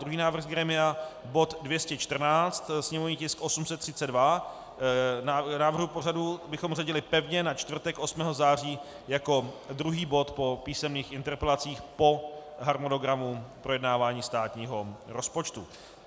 Druhý návrh z grémia: bod 214, sněmovní tisk 832, návrhu pořadu bychom zařadili pevně na čtvrtek 8. září jako druhý bod po písemných interpelacích, po harmonogramu projednávání státního rozpočtu.